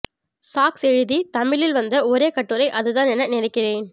socks எழுதி தமிழில் வந்த ஒரே கட்டுரை அதுதான் என நினைக்கிறேன்